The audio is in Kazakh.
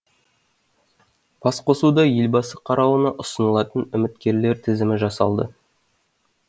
басқосуда елбасы қарауына ұсынылатын үміткерлер тізімі жасалды